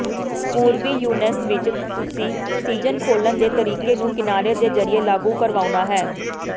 ਪੂਰਬੀ ਯੂਐਸ ਵਿਚ ਤੁਸੀਂ ਸੀਜ਼ਨ ਖੋਲ੍ਹਣ ਦੇ ਤਰੀਕੇ ਨੂੰ ਕਿਨਾਰੇ ਦੇ ਜ਼ਰੀਏ ਲਾਗੂ ਕਰਵਾਉਣਾ ਹੈ